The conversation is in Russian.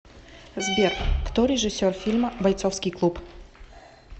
сбер кто режиссер фильма бойцовский клуб